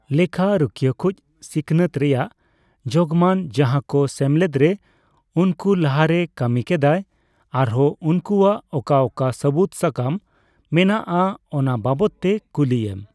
ᱞᱮᱠᱷᱟ ᱨᱩᱠᱷᱟᱹᱭᱟ ᱠᱩᱪ ᱥᱤᱠᱷᱚᱱᱟᱹᱛ ᱨᱮᱭᱟᱜ ᱡᱳᱜᱢᱟᱱ, ᱡᱟᱦᱟᱠᱚ ᱥᱮᱢᱞᱮᱫᱨᱮ ᱩᱱᱠᱩ ᱞᱟᱦᱟᱨᱮᱭ ᱠᱟᱹᱢᱤ ᱠᱮᱫᱟᱭ ᱟᱨᱦᱚᱸ ᱩᱱᱠᱩᱣᱟᱜ ᱚᱠᱟ ᱚᱠᱟ ᱥᱟᱹᱵᱩᱫ ᱥᱟᱠᱟᱢ ᱢᱮᱱᱟᱜᱼᱟ ᱚᱱᱟ ᱵᱟᱵᱚᱫ ᱛᱮ ᱠᱩᱞᱤᱭᱮᱢ᱾